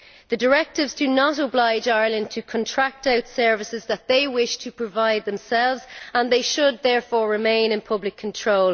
The directives do not oblige Ireland to contract out services that they wish to provide themselves, and they should therefore remain in public control.